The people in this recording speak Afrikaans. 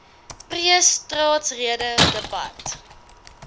pre staatsrede debat